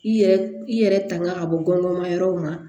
I yɛrɛ i yɛrɛ tanga ka bɔ gɔngɔn ma yɔrɔw ma